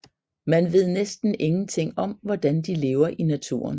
Man ved næsten ingenting om hvordan de lever i naturen